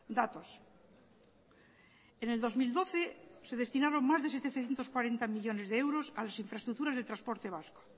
datos en el dos mil doce se destinaron más de setecientos cuarenta millónes de euros a las infraestructuras de transporte vasco